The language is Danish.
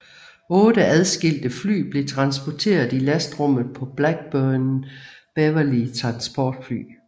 Otte adskilte fly blev transporteret i lastrummet på Blackburn Beverley transportfly